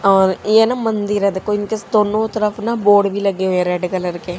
और ये ना मंदिर हैं देखो इनके स्टोनो तरफ ना बोर्ड भीं लगे हुए रेड कलर के--